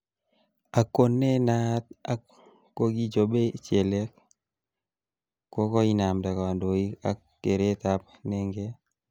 Ak ko ne naat ak kokichobei chelek kokoinamda kandoik ak kereetab nenget